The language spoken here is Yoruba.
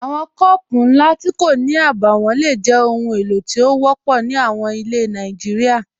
Awọn kọọpụ̀ nlá tí kò ní àbáwọ̀n ló jẹ́ ọhun èlo tí o wọ̀pọ̀ ní àwọn ilẹ̀ Nàìjíríà.